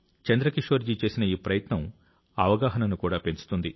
చంద్రకిషోర్ జీ చేసిన ఈ ప్రయత్నం అవగాహనను కూడా పెంచుతుంది